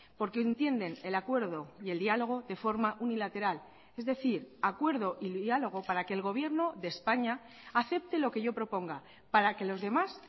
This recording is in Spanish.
porque entienden el acuerdo y el diálogo de forma unilateral es decir acuerdo y diálogo para que el gobierno de españa acepte lo que yo proponga para que los demás